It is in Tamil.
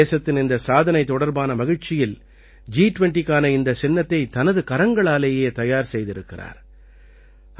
தேசத்தின் இந்தச் சாதனை தொடர்பான மகிழ்ச்சியில் ஜி20க்கான இந்தச் சின்னத்தைத் தனது கரங்களாலேயே தயார் செய்திருக்கிறார்